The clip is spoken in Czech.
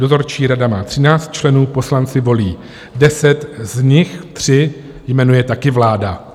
Dozorčí rada má 13 členů, poslanci volí 10, z nich 3 jmenuje také vláda.